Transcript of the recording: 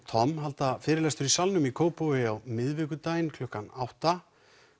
Tom halda fyrirlestur í Salnum í Kópavogi á miðvikudaginn klukkan áttunda